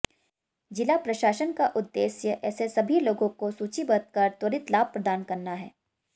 जिला प्रशासन का उद्देश्य ऐसे सभी लोगों को सूचीबद्ध कर त्वरित लाभ प्रदान करना है